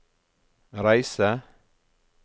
reise